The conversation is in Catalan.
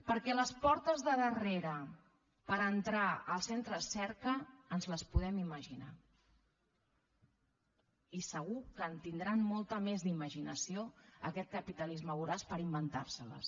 perquè les portes de darrere per entrar als centres cerca ens les podem imaginar i segur que en tindrà molta més d’imaginació aquest capitalisme voraç per inventar se les